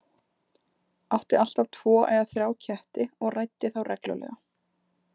Átti alltaf tvo eða þrjá ketti og ræddi þá reglulega.